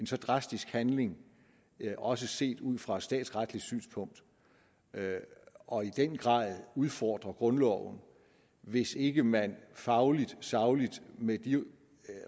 så drastisk handling også set ud fra et statsretligt synspunkt og i den grad udfordre grundloven hvis ikke man fagligt sagligt og med de